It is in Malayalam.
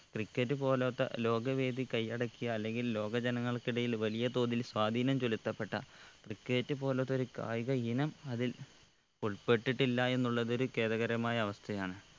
cricket പോലൊത്ത ലോക വേദി കയ്യടക്കിയ അല്ലെങ്കിൽ ലോക ജനങ്ങൾക്ക് ഇടയിൽ വലിയ തോതിൽ സ്വാധീനം ചൊലുത്തപ്പെട്ട cricket പോലൊത്ത ഒരു കായിക ഇനം അതിൽ ഉൾപ്പെട്ടിട്ടില്ല എന്നുള്ളത് ഒരു ഖേദകരമായ അവസ്ഥയാണ്